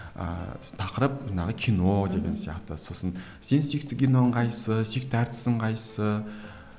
ыыы тақырып жаңағы кино деген сияқты сосын сен сүйікті киноң қайсысы сүйікті әртісің қайсысы